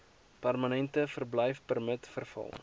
permanente verblyfpermit verval